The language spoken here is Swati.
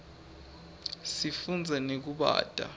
sifunza nekubata